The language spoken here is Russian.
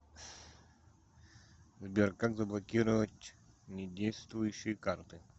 сбер как заблокировать не действующие карты